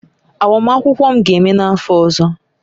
Agbamakwụkwọ m ga-eme n'afọ ọzọ